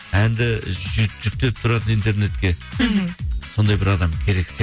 әнді жүктеп тұратын интернетке мхм сондай бір адам керек